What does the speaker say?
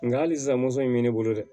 Nka hali sisan moto in bɛ ne bolo dɛ